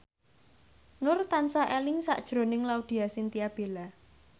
Nur tansah eling sakjroning Laudya Chintya Bella